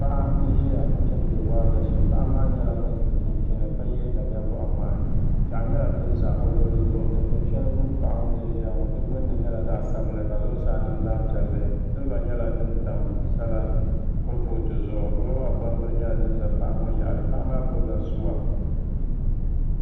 Paɣa n ʒiya chimdi waagashe paɣa maa nyɛla ŋun so chinchini ka yɛ daliya boɣa ŋmahi piɛɣu nyɛla din ʒɛ o luɣuli zuɣu Dikpuni shɛli gbuni paɣa ŋo ni ʒiya ŋo di gbunni nyɛla zaɣ sabinli ka zuɣusaa niŋ zaɣ piɛlli silba nyɛla din tam sala kuripooti zuɣu roba gbambili nyɛla din ʒɛ paɣa ŋo yaɣali paɣa maa gbubila suwa